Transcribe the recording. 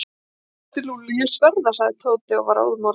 Þetta er Lúlli, ég sver það. sagði Tóti og var óðamála.